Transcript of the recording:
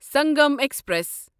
Sangam express